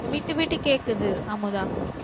விட்டுவிட்டு கேக்குது அமுதா